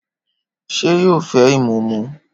Ṣé yóò fẹ ìmúmu?